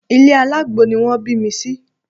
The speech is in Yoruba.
Ilé alágbo ni wọ́n bí mi sí